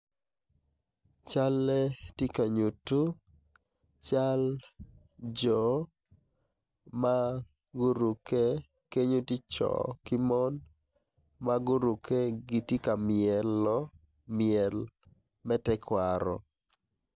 Calle ti ka nyuttu cal jo ma kenyo ti co ki mon ma gurukke giti ka myelo myel me tekwaro